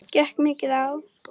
Gekk mikið á?